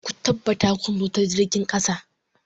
Ku tabbata kun zo ta jirgin ƙasa!